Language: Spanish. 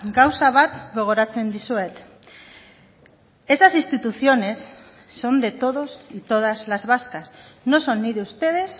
gauza bat gogoratzen dizuet esas instituciones son de todos y todas las vascas no son ni de ustedes